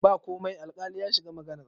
ba komai alkali ya shiga maganar